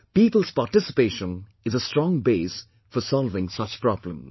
People's participation is a strong base for solving such problems